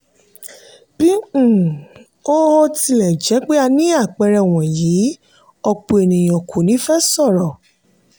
bí um ó ó tilẹ̀ jẹ́ pé a ní àpẹẹrẹ wọ̀nyí òpọ̀ ènìyàn kò ní fẹ sọ̀rọ̀.